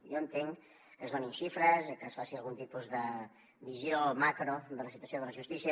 jo entenc que es donin xifres i que es faci algun tipus de visió macro de la situació de la justícia